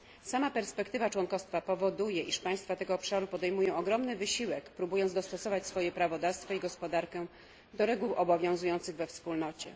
Sama perspektywa członkostwa powoduje, iż państwa tego obszaru podejmują ogromny wysiłek, próbując dostosować swoje prawodawstwo i gospodarkę do reguł obowiązujących we Wspólnocie.